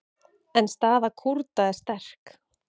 En staða Kúrda er sterk.